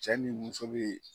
Cɛ ni muso be